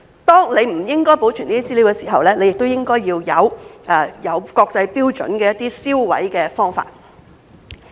當人們不應該保存這些資料時，亦應該要有國際標準的銷毀方法。